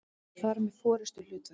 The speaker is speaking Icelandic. fara með forystuhlutverk.